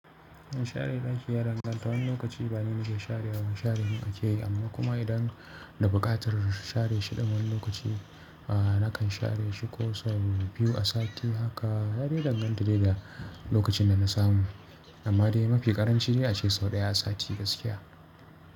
Share ɗaki ya, danganta wani lokaci ba ni nake sharewa ba share mun ake yi, amma kuma idan da buƙatar share shi ɗun wani lokaci, a nakan share shi ko sau biyu a sati. Haka ya dai danganta dai da lokacin da na samu. Amma dai mafi ƙaranciya ce sau ɗaya a sati gaskiya.